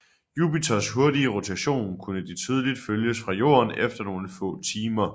Jupiters hurtige rotation kunne de tydeligt følges fra Jorden efter nogle få timer